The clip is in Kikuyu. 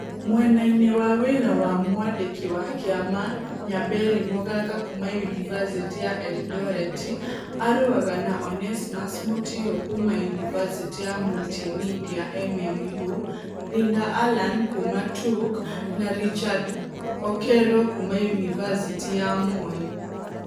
Mwena-inĩ wa wĩra wa Mwandiki wa kĩama, Nyaberi Mogaka kuuma Yunivasĩtĩ ya Erindoreti arũaga na Onesmus Mutio kuuma Yunivasĩtĩ ya Multi Media MM ũ, Linda Allan kuuma T ũK, na Richard Okero kuuma Yunivasĩtĩ ya Moi